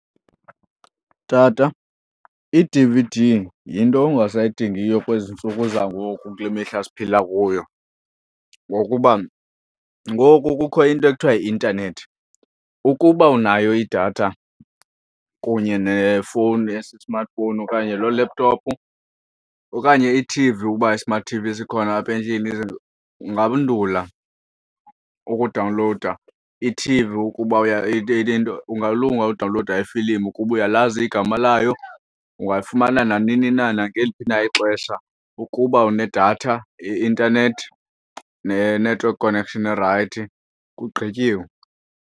Tata, i-D_V_D yinto ongasayidingiyo kwezi ntsuku zangoku kule mihla siphila kuyo. Ngokuba ngoku kukho into ekuthiwa yi-intanethi, ukuba unayo idatha kunye nefowuni esi-smartphone okanye loo laptop, okanye ithivi uba i-smart T_V sikhona apha endlini ungandula ukudawunlowuda ithivi ukuba ungalunga udawunlowuda iifilimu ukuba uyalazi igama layo ungayifumana nanini na, nangeliphi na ixesha. Ukuba unedatha yeintanethi ne-network connection erayithi, kugqityiwe.